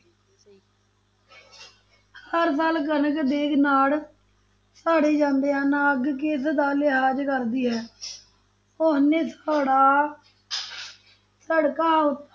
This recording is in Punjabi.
ਹਰ ਸਾਲ ਕਣਕ ਦੇ ਨਾੜ ਸਾੜੇ ਜਾਂਦੇ ਹਨ, ਅੱਗ ਕਿਸ ਦਾ ਲਿਹਾਜ਼ ਕਰਦੀ ਹੈ ਉਹ ਸੜਕਾਂ